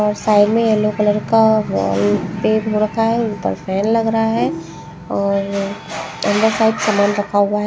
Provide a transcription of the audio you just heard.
और साइड में yellow colour का पेज हो रखा हैं ऊपर फैन लग रहा हैं और अंदर साइड सामान रखा हुआ हैं ।